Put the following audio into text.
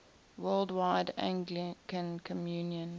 worldwide anglican communion